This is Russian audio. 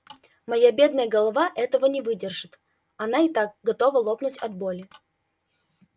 моя бедная голова этого не выдержит она и так готова лопнуть от боли